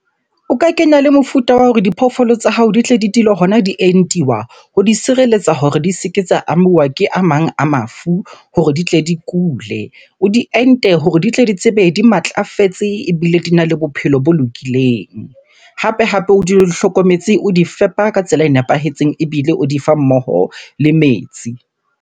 O ka kena le mofuta wa hore diphoofolo tsa hao di tle di dule hona di entuwa ho di sireletsa hore di se ke tsa amuwa ke a mang a mafu hore di tle di kule. O di ente ho re di tle di tsebe, di matlafetse ebile dina le bophelo bo lokileng. Hape-hape o dule di hlokometse, o di fepa ka tsela e nepahetseng, ebile o di fa mmoho le metsi.